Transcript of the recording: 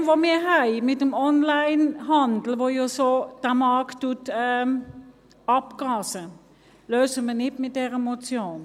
Das Problem, das wir mit dem Onlinehandel haben, der ja den Markt derart abgrast, lösen wir nicht mit dieser Motion.